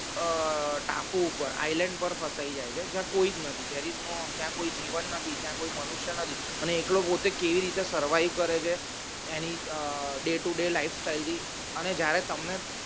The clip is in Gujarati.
ટાપુ ઉપર island પર ફસાઈ જાય છે જ્યાં કોઈ નથી there is no ત્યાં કો જીવન નથી ત્યાં કોઈ મનુષ્ય નહતી અને એકલો પોતે કય રીતે survive કરી છે એની day to day life style થી અને જ્યારે તમને